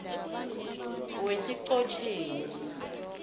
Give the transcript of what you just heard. wesichotjeni